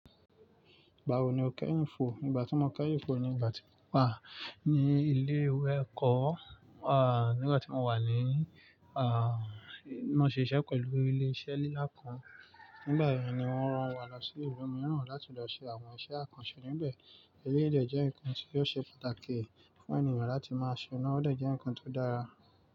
Igbáwo ni o kẹ́yìfò? Ìgbà tí mo kẹ́yìn fò ni ìgbà tí mo wà ní ilé-ìwé ẹ̀kọ́, à nígbà tí mo wà ní à mò ń ṣe iṣẹ́ pẹ̀lú ilé-iṣẹ́ lílà kan. Nígbà yẹn ni wọ́n ran wa lọ sí ìlú mìíràn láti lọ ṣe àwọn iṣẹ́ àkànṣẹ níbẹ̀. Elẹ́yi de nǹkan tí ó ṣe pàtàkì fún ènìyàn láti máa ṣe náà, ọ̀ de jẹ́ nǹkan tó dára.